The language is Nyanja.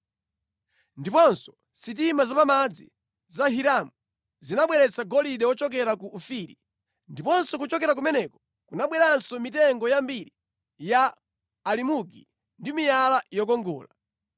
(Ndiponso sitima zapamadzi za Hiramu zinabweretsa golide wochokera ku Ofiri. Ndipo kuchokera kumeneko kunabweranso mitengo yambiri ya alimugi ndi miyala yokongola.